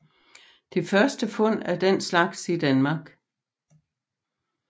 Det første fund af den slags i Danmark